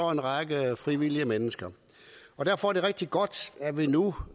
en række frivillige mennesker derfor er det rigtig godt at vi nu